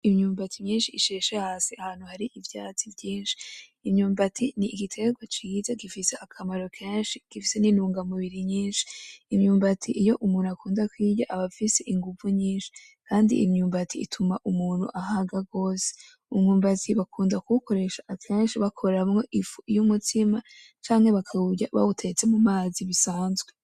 Imyumbati myinshi isheshe hasi ahantu hari ivyatsi vyinshi, imyumbati n'igitegwa ciza gifise akamaro kenshi, gifise nintunga mubiri nyinshi, imyumbati iyo umuntu akunda kuyirya aba afise inguvu nyinshi kandi imyumbati ituma umuntu ahaga gose, umwumbati bakunda kuwukoresha akenshi bakoramwo ifu y'umutsima canke bakawurya bawutetse mu mazi bisanzwe.